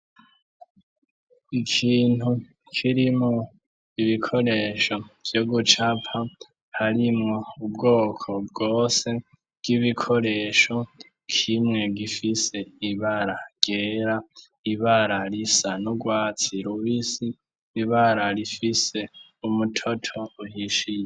Ikintu kirimwo ibikoresho vyo gucapa, harimwo ubwoko bwose bw'ibikoresho, kimwe gifise ibara ryera, ibara risa n'urwatsi rubisi, ibara rifise umutoto uhishiye.